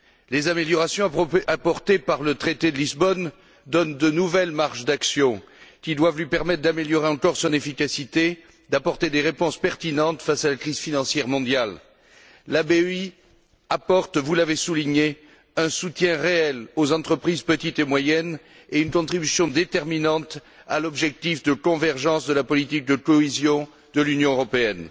Les améliorations apportées par le traité de Lisbonne donnent de nouvelles marges d'action, qui doivent lui permettre d'améliorer encore son efficacité et d'apporter des réponses pertinentes face à la crise financière mondiale. La BEI apporte, vous l'avez souligné, un soutien réel aux entreprises, petites et moyennes, et une contribution déterminante à l'objectif de convergence de la politique de cohésion de l'Union européenne.